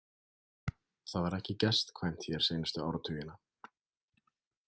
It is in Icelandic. Það var ekki gestkvæmt hér seinustu áratugina.